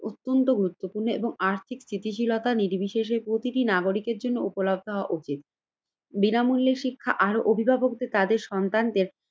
অত্যন্ত গুরুত্বপূর্ণ এবং আর্থিক স্থিতিশীলতা নির্বিশেষে প্রতিটি নাগরিকের জন্য উপলব্ধ হওয়া উচিত। বিনামূল্যে শিক্ষা আর অভিভাবকদের তাদের সন্তানদের